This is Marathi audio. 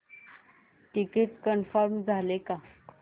तिकीट कन्फर्म झाले का